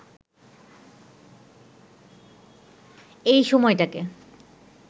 এই সময়টাকে